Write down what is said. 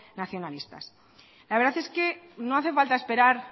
nacionalistas la verdad es que no hace falta esperar